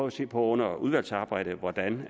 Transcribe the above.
at se på under udvalgsarbejdet hvordan